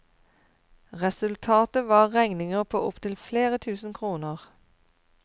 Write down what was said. Resultatet var regninger på opptil flere tusen kroner.